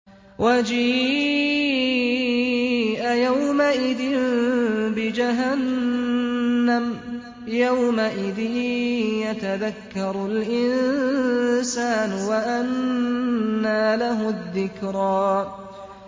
وَجِيءَ يَوْمَئِذٍ بِجَهَنَّمَ ۚ يَوْمَئِذٍ يَتَذَكَّرُ الْإِنسَانُ وَأَنَّىٰ لَهُ الذِّكْرَىٰ